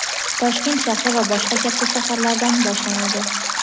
Toshkent shahri va boshqa katta shaharlardan boshlanadi.